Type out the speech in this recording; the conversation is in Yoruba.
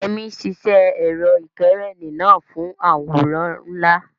Yemi ṣiṣẹ́ ẹ̀rọ ìkẹ́rẹ́nì náà fún àwòrán ńlá.